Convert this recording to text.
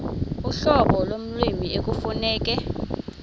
uhlobo lommi ekufuneka